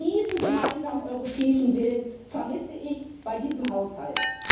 Diesen gemeinsamen europäischen Willen vermisse ich bei diesem Haushalt.